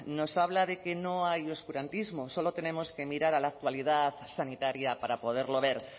nos habla de que no hay oscurantismo solo tenemos que mirar a la actualidad sanitaria para poderlo ver